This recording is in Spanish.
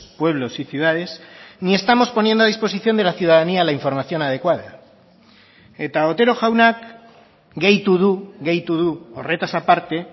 pueblos y ciudades ni estamos poniendo a disposición de la ciudadanía la información adecuada eta otero jaunak gehitu du gehitu du horretaz aparte